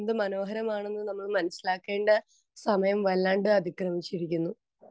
Speaker 2 എന്ത് മനോഹരമാണെന്ന് നമ്മൾ മനസിലാക്കേണ്ട സമയം വല്ലാണ്ട് അതിക്രമിച്ചിരിക്കുന്നു.